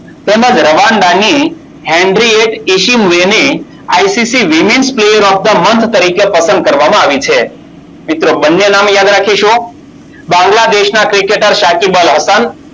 તેમજ રવાંડાની ICC women player of the month તરીકે પસંદ કરવામાં આવી છે. મિત્રો બંને નામ યાદ રાખીશું. બાંગ્લાદેશના ક્રિકેટર શાખી અલહસન